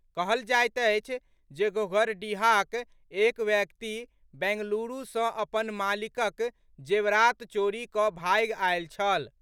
कहल जाइत अछि जे घोघरडीहाक एक व्यक्ति बैंगलूरू सॅ अपन मालिकक जेवरात चोरी कऽ भागि आयल छल।